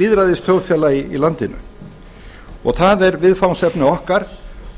lýðræðisþjóðfélagi í landinu það er viðfangsefni okkar